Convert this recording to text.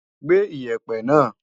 Gbé Iyẹ̀pẹ̀ náà!